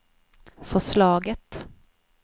förslaget